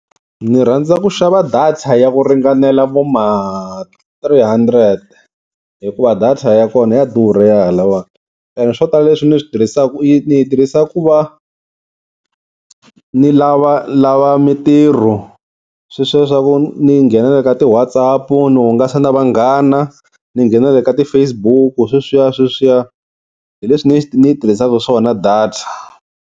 Ni rhandza ku xava data ya ku ringanela vo ma three hundred hikuva data ya kona ya durha ya halawani. Ene swo tala leswi ni swi tirhisaka ni yi tirhisa ku va ni lavalava mintirho sweswiya swa ku ni nghena na le ka ti-WhatsApp ni hungasa na vanghana ni nghena nale ka ti-Facebook sweswiya sweswiya hi leswi ni ni yi tirhisaka swona data.